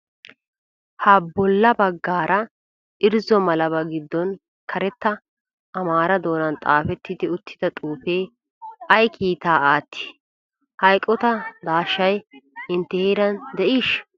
Ha bolla baggaara irzzo malabaa gidoon karetta amaara doonan xaafetti uttida xuufee ay kiitaa aatti? Ha eqotaa daashshay intte heeraan de'iisha?